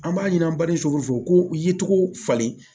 An b'a ɲini an bali so ko ye cogo falen